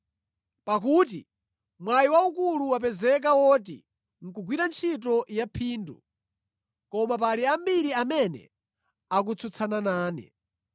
pakuti mwayi waukulu wapezeka woti nʼkugwira ntchito yaphindu, koma pali ambiri amene akutsutsana nane.